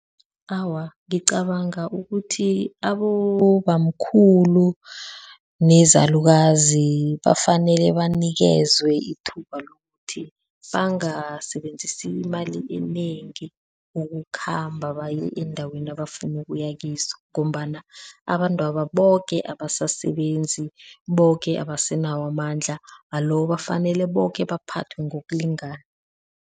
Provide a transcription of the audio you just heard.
Awa, ngicabanga ukuthi abobamkhulu nezalukazi bafanele banikezwe ithuba lokuthi bangasebenzisi imali enengi ukukhamba baye eendaweni abafuni ukuya kizo ngombana abantwaba boke abasasebenzi, boke abasenawo amandla alo bafanele boke baphathwe ngokulingana.